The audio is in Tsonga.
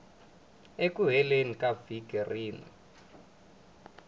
eku heleni ka vhiki rin